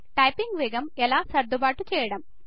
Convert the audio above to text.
typing వేగం ఎలా సర్దుబాటు చేయడం